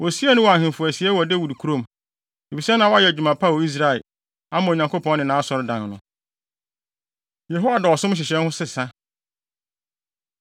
Wosiee no wɔ ahemfo asiei wɔ Dawid kurom, efisɛ na wayɛ adwuma pa wɔ Israel, ama Onyankopɔn ne nʼAsɔredan no. Yehoiada Ɔsom Nhyehyɛe No Sesa